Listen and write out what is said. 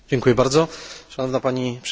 Szanowna Pani Przewodnicząca!